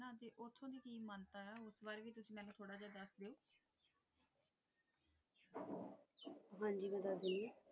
ਹਾਂਜੀ ਬੇਟਾ ਜੀ